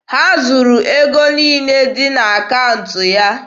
Ha zuru ego niile dị n'akaụntụ ya.